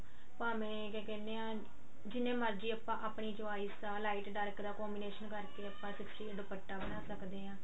ਭਾਵੇਂ ਇਹ ਕੀਹਨੇ ਆਂ ਜਿੰਨੇ ਮਰਜੀ ਆਪਾਂ ਆਪਣੀ choice ਦਾ light dark ਦਾ combination ਕਰਕੇ ਆਪਾਂ sixty eight ਦੁਪੱਟਾ ਬਣਾ ਸਕਦੇ ਆਂ